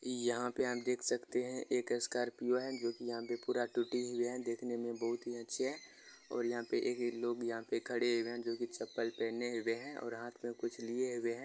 यहा पे आप देख सकते है एक स्कॉर्पियो है जो की यहा पे पूरा टूटी हुइ है देखने मे बहुत ही अच्छे है और यह पे ए लोग यहा पे खड़े हुए है जो की चप्पल पहने हुए है और हाथ मे कुछ किए हुए है।